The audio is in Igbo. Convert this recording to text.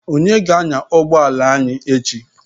Onye ga-anya ụgbọ ala anyị echi?